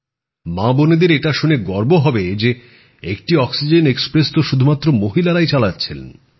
মাবোনেদের এটা শুনে গর্ব হবে যে একটি অক্সিজেন এক্সপ্রেস তো শুধুমাত্র মহিলারাই চালাচ্ছেন